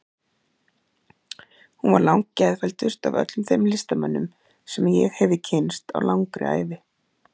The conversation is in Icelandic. Hún var geðfelldust af öllum þeim listamönnum sem ég hefi kynnst á langri ævi.